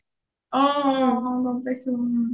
অ অ গম পাইছো